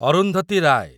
Arundhati Rai